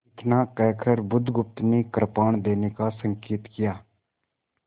इतना कहकर बुधगुप्त ने कृपाण देने का संकेत किया